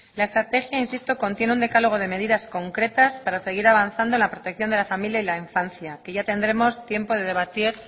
la estrategia insisto contiene un decálogo de medidas concretas para seguir avanzado en la protección de la familia y la infancia que ya tendremos tiempo de debatir